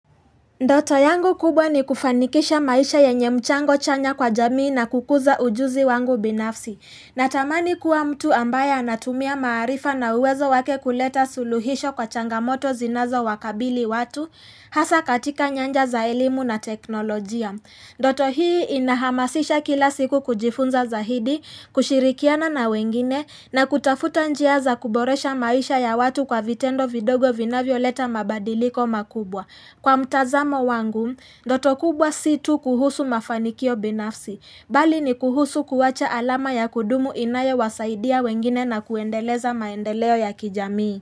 Ndoto yangu kubwa ni kufanikisha maisha yenye mchango chanya kwa jamii na kukuza ujuzi wangu binafsi. Natamani kuwa mtu ambaye anatumia maarifa na uwezo wake kuleta suluhisho kwa changamoto zinazowakabili watu hasa katika nyanja za elimu na teknolojia. Ndoto hii inahamasisha kila siku kujifunza zaidi, kushirikiana na wengine na kutafuta njia za kuboresha maisha ya watu kwa vitendo vidogo vinavyoleta mabadiliko makubwa. Kwa mtazamo wangu, ndoto kubwa si tu kuhusu mafanikio binafsi, bali ni kuhusu kuwacha alama ya kudumu inayowasaidia wengine na kuendeleza maendeleo ya kijamii.